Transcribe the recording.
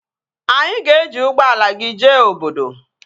Anyị ga-eji ụgbọala gị jee obodo